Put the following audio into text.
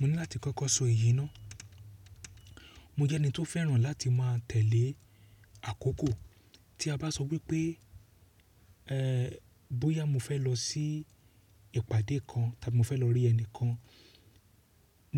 Mo ní láti kọ́kọ́ sọ èyí ná. Mo jẹ́ ẹni tó fẹ́ràn láti má a tẹ̀lé àkókò. Tí a bá sọ wípé, ẹ́ẹ́, bóyá mo fẹ́ lọ sí ìpàdé kan, tàbí mo fẹ́ lọ rí ẹni kan